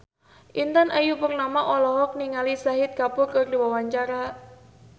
Intan Ayu Purnama olohok ningali Shahid Kapoor keur diwawancara